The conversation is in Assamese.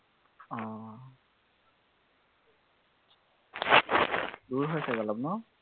দূৰ হেছে অলপ ন?